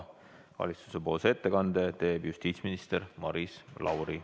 Valitsuse ettekande teeb justiitsminister Maris Lauri.